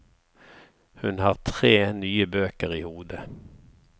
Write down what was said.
Hun har tre nye bøker i hodet.